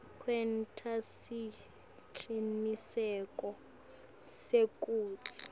kwenta siciniseko sekutsi